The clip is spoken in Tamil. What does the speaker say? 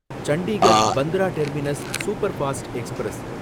Chandigarh Bandra terminus superfast express